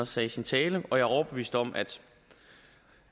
sagde i sin tale og jeg er overbevist om at